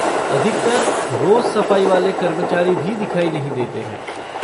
अधिकतर रोज़ सफ़ाई वाले कर्मचारी भी दिखाई नहीं देते हैं।